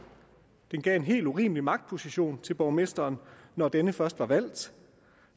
det gav en helt urimelig magtposition til borgmesteren når denne først var valgt